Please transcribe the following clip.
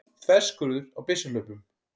Þverskurður á byssuhlaupum.